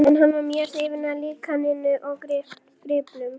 En hann var mjög hrifinn af líkaninu og gripnum.